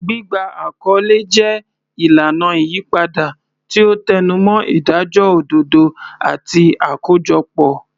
Gbígba àkọlé jẹ́ ìlànà ìyípadà, tí ó tẹnumọ́ ìdájọ́ òdodo àti àkójọpọ̀.